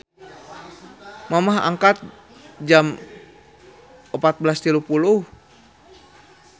Mamah angkat jam 14.30